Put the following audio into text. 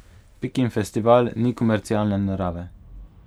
Pikin festival ni komercialne narave.